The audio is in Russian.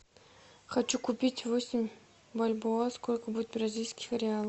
хочу купить восемь бальбоа сколько будет бразильских реалов